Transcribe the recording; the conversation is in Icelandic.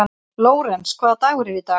Lórens, hvaða dagur er í dag?